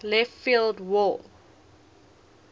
left field wall